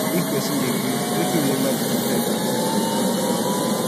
if person dey grief im fit remember di good times and choose to honor am